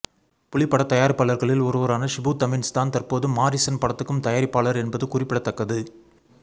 புலி பட தயாரிப்பாளர்களில் ஒருவரான ஷிபு தமீன்ஸ் தான் தற்போது மாரீசன் படத்துக்கும் தயாரிப்பாளர் என்பது குறிப்பிடத்தக்கது